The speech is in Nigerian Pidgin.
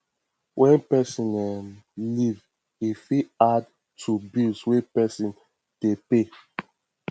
when person um leave e fit add to bill wey person dey pay